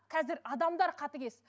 қазір адамдар қатыгез